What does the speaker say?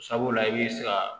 Sabula i bɛ se ka